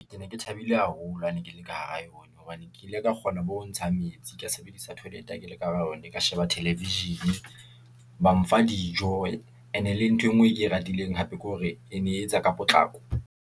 Ke ne ke thabile haholo ha ne ke le ka hara yona, hobane ke ile ka kgona bo ho ntshang metsi, ke sebedisa toilet ha ke le ka hara yona, ka sheba television-e , ba mfa dijo ene le nthwe ngwe e ke e ratileng hape ke hore e ne e etsa ka potlako.